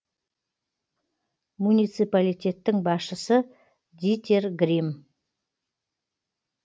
муниципалитеттің басшысы дитер грим